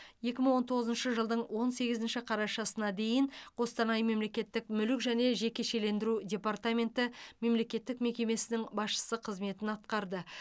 екі мың он тоғызыншы жылдың он сегізінші қарашасына дейін қостанай мемлекеттік мүлік және жекешелендіру департаменті мемлекеттік мекемесінің басшысы қызметін атқарды